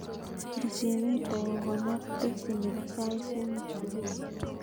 Pirchin rta kokonor teksi nepo sait somok supui